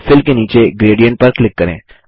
fill के नीचे gradient पर क्लिक करें